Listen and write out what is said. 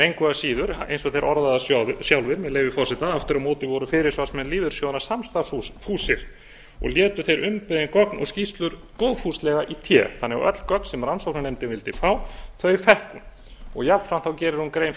engu að síður eins og þeir orða það sjálfir með leyfi forseta aftur á móti voru fyrirsvarsmenn lífeyrissjóðanna samstarfsfúsir og létu þeir umbeðin gögn og skýrslur góðfúslega í té öll gögn því sem rannsóknarnefndin vildi fá fékk hún jafnframt gerir hún grein